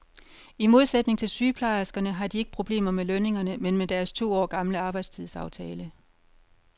I modsætning til sygeplejerskerne har de ikke problemer med lønningerne, men med deres to år gamle arbejdstidsaftale.